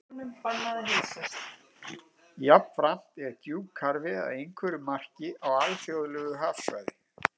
Jafnframt er djúpkarfi að einhverju marki á alþjóðlegu hafsvæði.